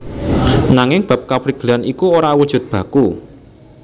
Nanging bab kaprigelan iku ora awujud baku